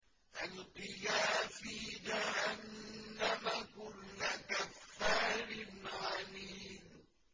أَلْقِيَا فِي جَهَنَّمَ كُلَّ كَفَّارٍ عَنِيدٍ